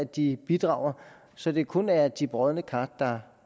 de bidrager så det kun er de brodne kar der